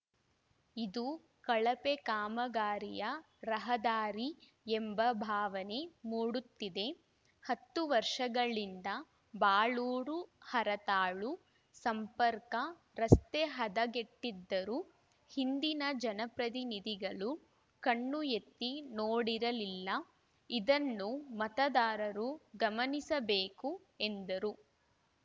ಇದು ಕಳಪೆ ಕಾಮಗಾರಿಯ ರಹದಾರಿ ಎಂಬ ಭಾವನೆ ಮೂಡುತ್ತಿದೆ ಹತ್ತು ವರ್ಷಗಳಿಂದ ಬಾಳೂರು ಹರತಾಳು ಸಂಪರ್ಕ ರಸ್ತೆ ಹದಗೆಟ್ಟಿದ್ದರೂ ಹಿಂದಿನ ಜನಪ್ರತಿನಿಧಿಗಳು ಕಣ್ಣು ಎತ್ತಿ ನೋಡಿರಲ್ಲಿಲ್ಲ ಇದನ್ನು ಮತದಾರರು ಗಮನಿಸಬೇಕು ಎಂದರು